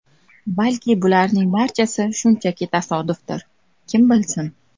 Balki bularning barchasi shunchaki tasodifdir, kim bilsin.